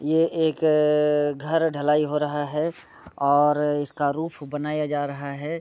ये एक अ घर ढलाई हो रहा हैऔर इसका रूफ बनाया जा रहा है।